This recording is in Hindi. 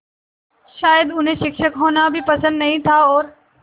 शायद उन्हें शिक्षक होना भी पसंद नहीं था और